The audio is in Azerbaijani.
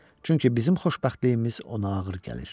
Çünki bizim xoşbəxtliyimiz ona ağır gəlir.